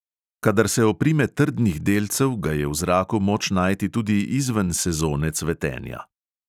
Kadar se oprime trdnih delcev, ga je v zraku moč najti tudi izven sezone cvetenja.